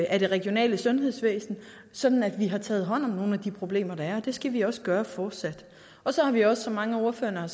af det regionale sundhedsvæsen sådan at vi har taget hånd om nogle af de problemer der er det skal vi også gøre fortsat så har vi også som mange af ordførerne har